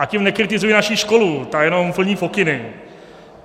A tím nekritizuji naši školu, ta jenom plní pokyny.